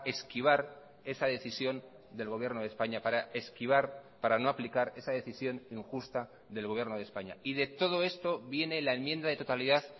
esquivar esa decisión del gobierno de españa para esquivar para no aplicar esa decisión injusta del gobierno de españa y de todo esto viene la enmienda de totalidad